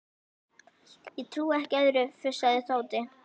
Ég trúi ekki öðru, fussaði Tóti.